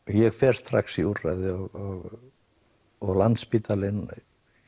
ég fór strax í úrræði og og Landspítalinn